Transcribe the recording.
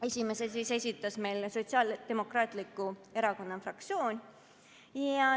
Esimese esitas Sotsiaaldemokraatliku Erakonna fraktsioon.